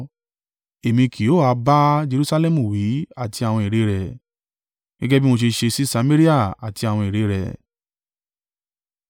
Èmi kì yóò a bá Jerusalẹmu wí àti àwọn ère rẹ̀?’ ” Gẹ́gẹ́ bí mo ṣe ṣe sí Samaria àti àwọn ère rẹ̀?